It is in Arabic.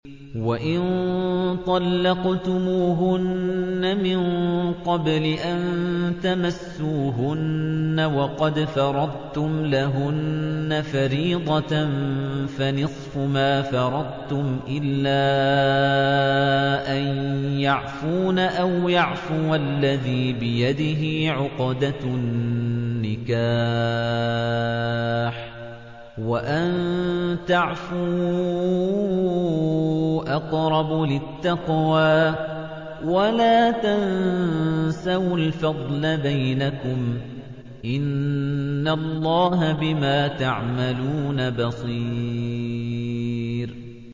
وَإِن طَلَّقْتُمُوهُنَّ مِن قَبْلِ أَن تَمَسُّوهُنَّ وَقَدْ فَرَضْتُمْ لَهُنَّ فَرِيضَةً فَنِصْفُ مَا فَرَضْتُمْ إِلَّا أَن يَعْفُونَ أَوْ يَعْفُوَ الَّذِي بِيَدِهِ عُقْدَةُ النِّكَاحِ ۚ وَأَن تَعْفُوا أَقْرَبُ لِلتَّقْوَىٰ ۚ وَلَا تَنسَوُا الْفَضْلَ بَيْنَكُمْ ۚ إِنَّ اللَّهَ بِمَا تَعْمَلُونَ بَصِيرٌ